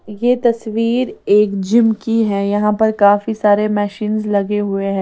यह तस्वीर एक जिम की है यहां पर काफी सारे मशींस लगे हुए हैं।